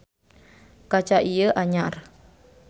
Kaca ieu anyar.